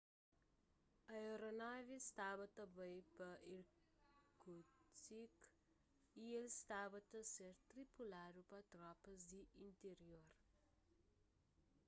aeronavi staba ta bai pa irkutsk y el staba ta ser tripuladu pa tropas di intirior